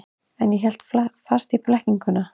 En hélt fast í blekkinguna.